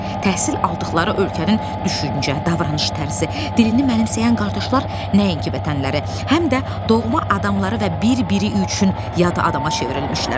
Təhsil aldıqları ölkənin düşüncə, davranış tərzi, dilini mənimsəyən qardaşlar nəinki vətənləri, həm də doğma adamları və bir-biri üçün yad adama çevrilmişlər.